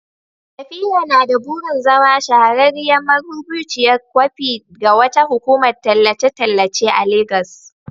Safira na da burin zama shahararriyar marubuciyar kwafi ga wata hukumar tallace-tallace a Legas.